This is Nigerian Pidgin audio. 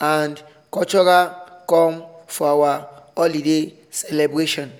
and cultural come for our holiday celebration